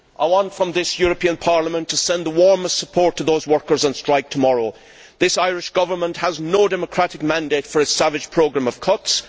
I want, from this European Parliament, to send the warmest support to those workers on strike tomorrow. This Irish Government has no democratic mandate for its savage programme of cuts.